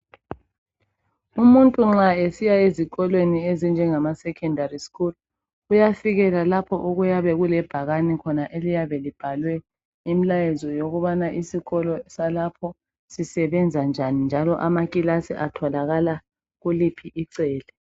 Umuntu nxa esiya ezikolweni ezinjengama secondary school ,uyafikela lapho okuyabe kulebhakane khona eliyabe libhalwe imilayezo yokubana isikolo salapho sisebenza njani njalo amakilasi atholakala kuliphi icele.